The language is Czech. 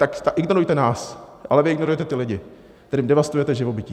Tak ignorujte nás, ale vy ignorujete ty lidi, kterým devastujete živobytí.